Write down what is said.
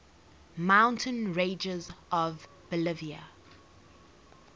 mountain ranges of bolivia